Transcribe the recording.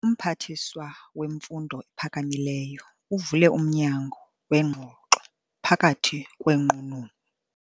Umphathiswa wemfundo ephakamileyo uvule umnyango weengxoxo phakathi kweenqununu.